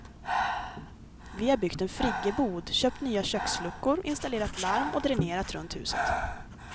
Vi har byggt en friggebod, köpt nya köksluckor, installerat larm och dränerat runt huset.